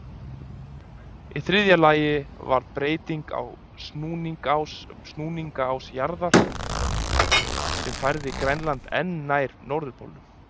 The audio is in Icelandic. Í þriðja lagi varð breyting á snúningsás jarðar, sem færði Grænland enn nær norðurpólnum.